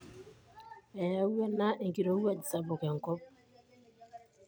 Eyawua ena enkirowuaj sapuk enkop.